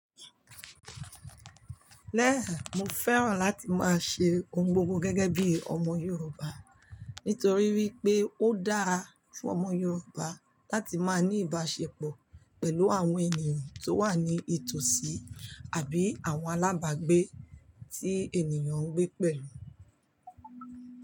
Lẹ́ẹ̀, mo fẹ́ràn láti máa ṣe ohun gbogbo gẹ́gẹ́ bí ọmọ Yorùbá, nítorí wípé ó dáa fún ọmọ Yorùbá láti máa ní ìbáṣepọ̀ pẹ̀lú àwọn ènìyàn tó wà ní ìtòsí àbí àwọn alábàágbé tí ènìyàn ń gbé pẹ̀lú.